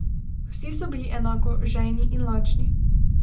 Vsi so bili enako žejni in lačni.